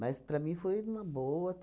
Mas, para mim, foi uma boa.